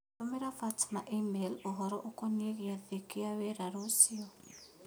Tũmĩra Fatma e-mai ũhoro ũkonĩĩ gĩathĩ kĩa wĩra rũciũa.